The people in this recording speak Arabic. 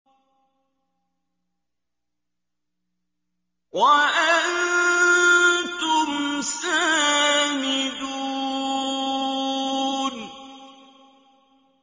وَأَنتُمْ سَامِدُونَ